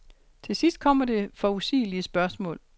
Til sidst kommer det forudsigelige spørgsmål.